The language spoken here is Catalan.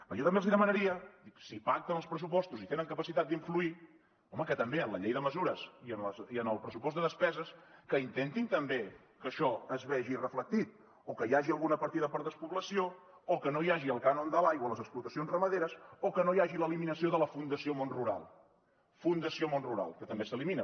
jo també els demanaria si pacten els pressupostos i tenen capacitat d’influir home que també en la llei de mesures i en el pressupost de despeses intentin també que això es vegi reflectit o que hi hagi alguna partida per despoblació o que no hi hagi el cànon de l’aigua a les explotacions ramaderes o que no hi hagi l’eliminació de la fundació món rural fundació món rural que també s’elimina